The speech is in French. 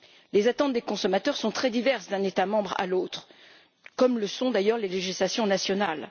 Les attentes des consommateurs sont très diverses d'un État membre à l'autre, comme le sont d'ailleurs les législations nationales.